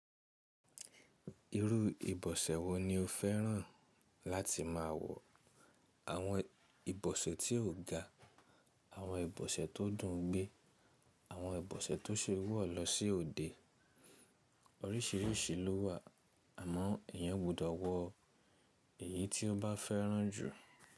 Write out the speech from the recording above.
Irú ìbọ̀sẹ̀ wo ni o fẹ́ràn láti máa wọ̀? Àwọn ìbọ̀sẹ̀ tí ò ga, àwọn ìbọ̀sẹ̀ tó dùn gbé, àwọn ìbọ̀sẹ̀ tó se wọ́ lọ sí òde. Oríṣìíríṣìí ló wà àmọ́ ẹ̀yàn gbọdọ̀ wọ èyí tí ó bá fẹ́ràn jù.